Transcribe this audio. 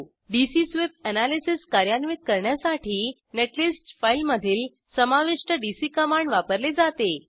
DC sweep analysis कार्यान्वित करण्यासाठी netlist फाईलमधील समाविष्ट डीसी कमांड वापरले जाते